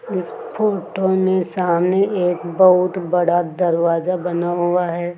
इस फोटो में सामने एक बहुत बड़ा दरवाजा बना हुआ है।